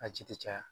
A ji tɛ caya